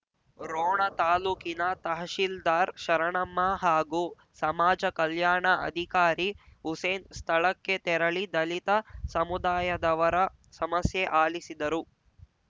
ರೋಣ ತಾಲೂಕಿನ ತಹಶೀಲ್ದಾರ್‌ ಶರಣಮ್ಮ ಹಾಗೂ ಸಮಾಜ ಕಲ್ಯಾಣ ಅಧಿಕಾರಿ ಹುಸೇನ್‌ ಸ್ಥಳಕ್ಕೆ ತೆರಳಿ ದಲಿತ ಸಮುದಾಯದವರ ಸಮಸ್ಯೆ ಆಲಿಸಿದರು